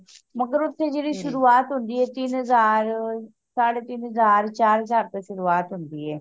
ਮਗਰ ਓਥੇ ਜੇਦੀ ਸ਼ੁਰੂਆਤ ਹੁੰਦੀ ਏ ਤਿੰਨ ਹਜਾਰ ਸਾਡੇ ਤਿੰਨ ਹਜਾਰ ਚਾਰ ਹਜਾਰ ਤੋਂ ਸ਼ੁਰੂਆਤ ਹੁੰਦੀ ਏ